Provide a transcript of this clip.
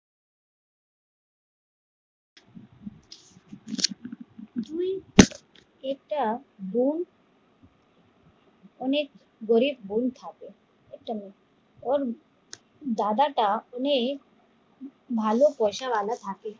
একটা বোন অনেক গরিব বোন থাকে ওর দাদা টা অনেক ভালো পয়সা ওয়ালা থাকে